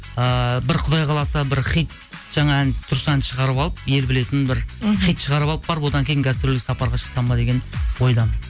ыыы бір құдай қаласа бір хит жаңа ән дұрыс ән шығарып алып ел білетін бір мхм хит шығарып алып барып одан кейін гастрольдік сапарға шықсам ба деген ойдамын